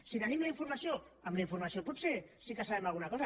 si tenim la informació amb la informació potser sí que sabem alguna cosa